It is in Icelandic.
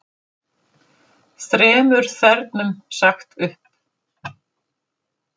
Þremur þernum sagt upp